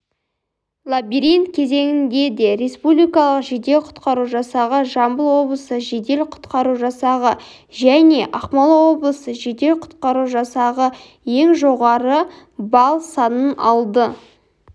лабиринт кезеңінде де республикалық жедел-құтқару жасағы жамбыл облысы жедел-құтқару жасағы және ақмола облысы жедел-құтқару жасағы ең жоғары балл санын алды